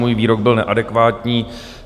Můj výrok byl neadekvátní.